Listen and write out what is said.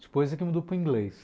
Depois aqui mudou para o inglês.